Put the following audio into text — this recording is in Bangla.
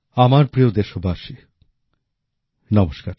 আমার প্রিয় দেশবাসী নমস্কার